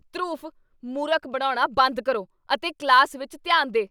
ਧਰੁਵ, ਮੂਰਖ ਬਣਾਉਣਾ ਬੰਦ ਕਰੋ ਅਤੇ ਕਲਾਸ ਵਿੱਚ ਧਿਆਨ ਦੇ!